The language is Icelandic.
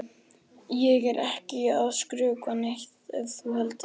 Ég er ekkert að skrökva neitt ef þú heldur það.